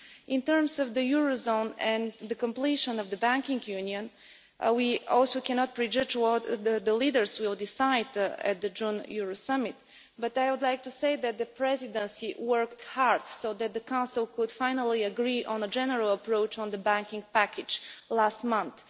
In terms of the eurozone and the completion of the banking union, we also cannot prejudge what the leaders will decide at the June Euro summit, but I would like to say that the Presidency worked hard so that the Council could finally agree on a general approach on the banking package last month.